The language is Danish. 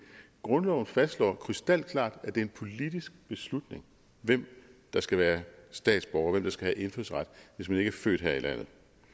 grundloven fastslår krystalklart at det er en politisk beslutning hvem der skal være statsborger og hvem der skal have indfødsret hvis man ikke er født her i landet